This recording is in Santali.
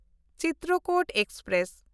ᱪᱤᱛᱨᱚᱠᱩᱴ ᱮᱠᱥᱯᱨᱮᱥ